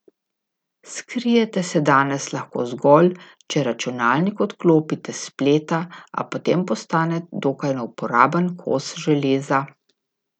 Skrijete se danes lahko zgolj, če računalnik odklopite s spleta, a potem postane dokaj neuporaben kos železa.